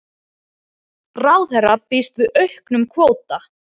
Ráðherra býst við auknum kvóta